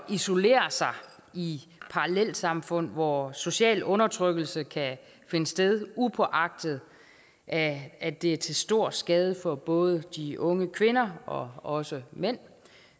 isolere sig i parallelsamfund hvor social undertrykkelse kan finde sted upåagtet at at det er til stor skade for både de unge kvinder og også mænd